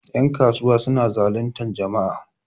yankasuwa suna zalintar jama'a